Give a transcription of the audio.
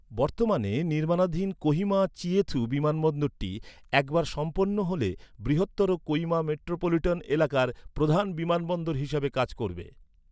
বর্তমানে নির্মাণাধীন কোহিমা চিয়েথু বিমানবন্দরটি একবার সম্পন্ন হলে বৃহত্তর কোহিমা মেট্রোপলিটন এলাকার প্রধান বিমানবন্দর হিসেবে কাজ করবে।